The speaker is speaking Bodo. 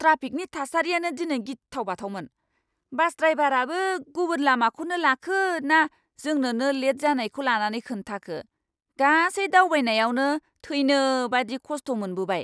ट्राफिकनि थासारिआनो दिनै गिथाव बाथावमोन। बास ड्रायभाराबो गुबुन लामाखौनो लाखो ना जोंनोनो लेट जानायखौ लानानै खोन्थाखो, गासै दावबायनायावनो थैनो बायदि खस्ट' मोनबोबाय।